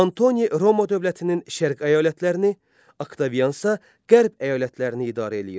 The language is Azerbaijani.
Antoni Roma dövlətinin şərq əyalətlərini, Oktaviansa qərb əyalətlərini idarə eləyirdi.